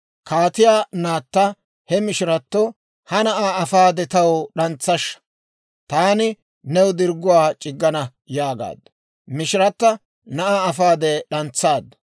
Kaatiyaa naatta he mishiratto, «Ha na'aa afaade, taw d'antsashsha; taani new dirgguwaa c'iggana» yaagaaddu. Mishirata na'aa afaade, d'antsaaddu.